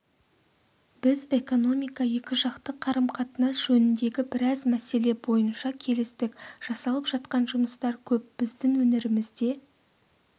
біз экономика екіжақты қарым-қатынас жөніндегі біраз мәселе бойынша келістік жасалып жатқан жұмыстар көп біздің өңірімізде